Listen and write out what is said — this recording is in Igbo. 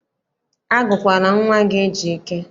Agụkwala nwa gị Ejike!